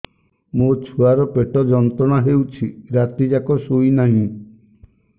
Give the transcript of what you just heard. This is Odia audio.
ମୋ ଛୁଆର ପେଟ ଯନ୍ତ୍ରଣା ହେଉଛି ରାତି ଯାକ ଶୋଇନାହିଁ